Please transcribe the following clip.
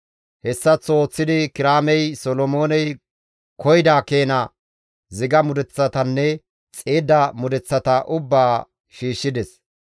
Hessaththo ooththidi Kiraamey Solomooney koyida keena ziga mudeththatanne xiidda mudeththata ubbaa shiishshides.